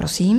Prosím.